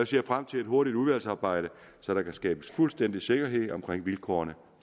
ser frem til et hurtigt udvalgsarbejde så der kan skabes fuldstændig sikkerhed om vilkårene